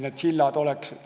See sild peab olema.